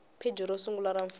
pheji ro sungula ra fomo